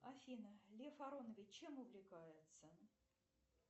афина лев аронович чем увлекается